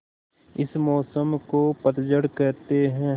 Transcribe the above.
इस मौसम को पतझड़ कहते हैं